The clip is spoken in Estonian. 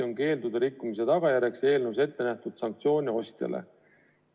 Keeldude rikkumise tagajärjeks on eelnõus ettenähtud sanktsioonid ostjale.